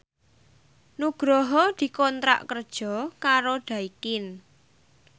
Nugroho dikontrak kerja karo Daikin